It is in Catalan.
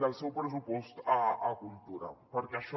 del seu pressupost a cultura perquè això